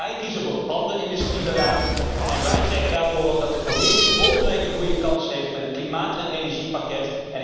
Wij kiezen voor ander industriebeleid en wij zeggen daarom dat de Commissie volgende week een goede kans heeft met het klimaat en energiepakket.